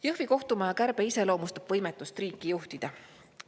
Jõhvi kohtumaja kärbe iseloomustab võimetust riiki juhtida.